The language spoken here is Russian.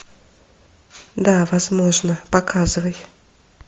да возможно показывай